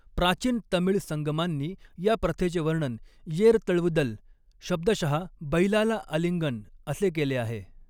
प्राचीन तमिळ संगमांनी या प्रथेचे वर्णन येर तळवुदल, शब्दशः 'बैलाला आलिंगन' असे केले आहे.